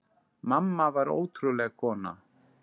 Mamma var ótrúleg kona.